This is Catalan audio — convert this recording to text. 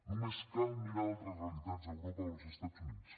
només cal mirar altres realitats a europa o als estats units